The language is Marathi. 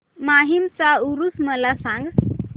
माहीमचा ऊरुस मला सांग